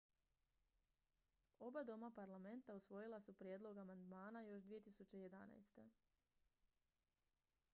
oba doma parlamenta usvojila su prijedlog amandmana još 2011